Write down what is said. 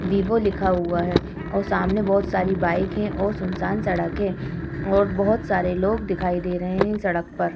Vivo लिखा हुआ है और सामने बोहोत सारी बाइक है और सुनसान सड़क है और बोहोत सारे लोग दिखाई दे रहे हैं। सड़क पर।